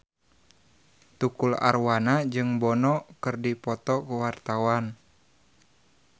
Tukul Arwana jeung Bono keur dipoto ku wartawan